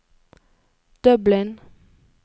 Dublin